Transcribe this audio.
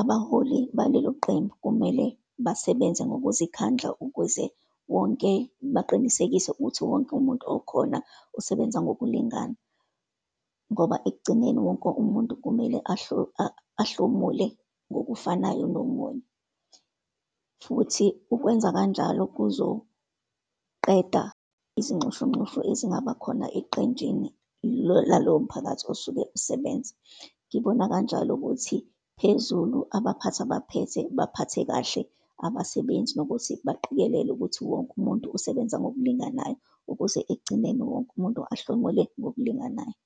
abaholi baleloqembu kumele basebenze ngokuzikhandla ukuze wonke, baqinisekise ukuthi wonke umuntu okhona usebenza ngokulingana, ngoba ekugcineni wonke umuntu kumele ahlomule ngokufanayo nomunye. Futhi ukwenza kanjalo kuzoqeda izinxushunxushu ezingaba khona eqenjini laloyo mphakathi osuke usebenza. Ngibona kanjalo ukuthi phezulu abaphathi abaphethe, baphathe kahle abasebenzi nokuthi baqikelele ukuthi wonke umuntu usebenza ngokulinganayo, ukuze ekugcineni wonke umuntu ahlomule ngokulinganayo.